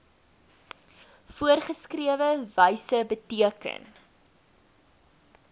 voorgeskrewe wyse beteken